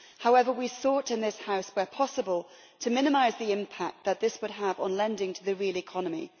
However, we sought in this House, where possible, to minimise the impact that this would have on lending to the real economy.